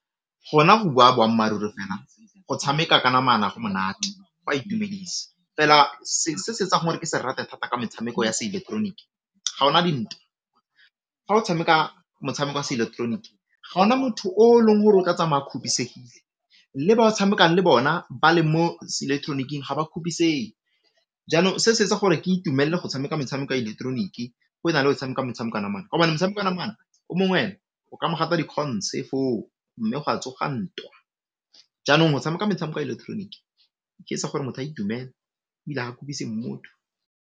Gona go bua boammaaruri fela go tshameka ka namana go monate, go a itumedisa fela se se etsang gore ke se rate thata ka metshameko ya seileketeroniki, gaona dintwa, fa o tshameka motshameko wa seileketeroniki ga gona motho o long gore o tla tsamaya kgopisegile le ba o tshamekang le bona ba le mo seileketoroniking ga ba kgopisege, jaanong se se etsa gore ke itumelle go tshameka metshameko ya ileketeroniki go na le o tshameka gobane motshameko wa namana omong ena o ka mogata dikgontšhe foo mme gwa tsoga ntwa, jaanong go tshameka metshameko ya ileketeroniki e etsa gore motho a itumele ebile ha motho.